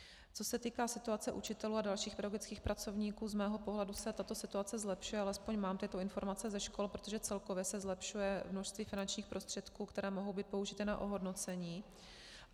Co se týká situace učitelů a dalších pedagogických pracovníků, z mého pohledu se tato situace zlepšuje, alespoň mám ty informace ze škol, protože celkově se zlepšuje množství finančních prostředků, které mohou být použity na ohodnocení.